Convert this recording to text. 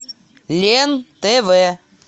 лен тв